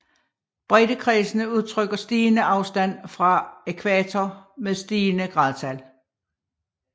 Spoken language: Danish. Breddekredsene udtrykker stigende afstand fra ækvator med stigende gradtal